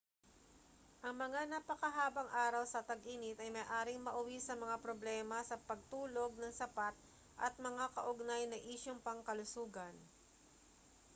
ang mga napakahabang araw sa tag-init ay maaaring mauwi sa mga problema sa pagtulog nang sapat at mga kaugnay na isyung pangkalusugan